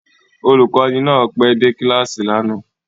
Olùkọ́ni náà pẹ́ dé kíláàsì lánàá